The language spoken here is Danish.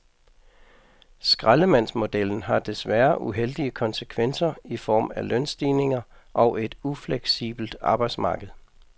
Skraldemandsmodellen har desværre uheldige konsekvenser i form af lønstigninger og et ufleksibelt arbejdsmarked.